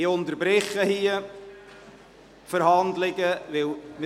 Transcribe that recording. Ich unterbreche die Verhandlungen hier.